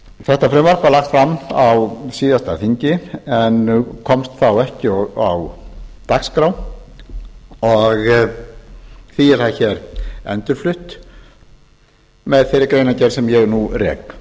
þetta frumvarp var lagt fram á síðasta þingi en komst ekki á dagskrá og því er það endurflutt hér með þeirri greinargerð sem ég nú rek